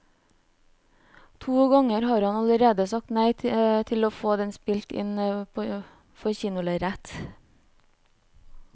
To ganger har han allerede sagt nei til å få den spilt inn for kinolerretet.